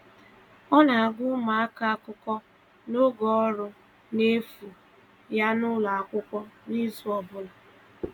Ọ na-agụ̀ ụmụaka akụkọ n’oge ọrụ n’efu ya n’ụlọ akwụkwọ n’izu ọ bụla.